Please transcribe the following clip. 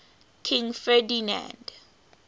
king ferdinand